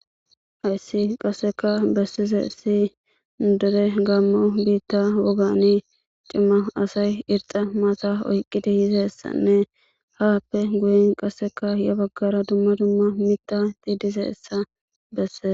hayssi qasseka bessizesi nu deure gammo biitta woani cimma asay irxa maata oyqqiti hizessanne haappe guyin qasseka ya baggara dumma dumma mita aytey dizayssabessese